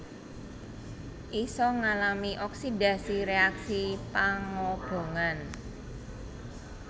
Isa ngalami oksidasi réaksi pangobongan